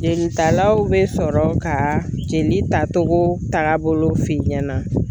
Jelitalaw be sɔrɔ ka jeli tatogo tagabolo f'i ɲɛna